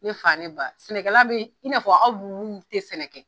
Ne fa ne ba sɛnɛkɛla bɛ i fɔ aw tɛ sɛnɛ kɛ.